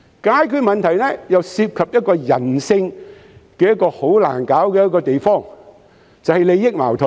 解決問題又涉及人性中很難處理的地方，就是利益矛盾。